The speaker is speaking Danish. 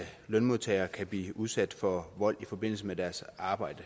lønmodtagere kan blive udsat for vold i forbindelse med deres arbejde